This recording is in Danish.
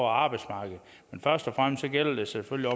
arbejdsmarkedet men først og fremmest gælder det selvfølgelig